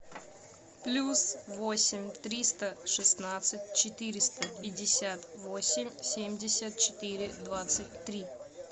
плюс восемь триста шестнадцать четыреста пятьдесят восемь семьдесят четыре двадцать три